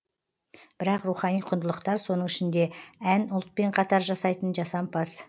бірақ рухани құндылықтар соның ішінде ән ұлтпен қатар жасайтын жасампаз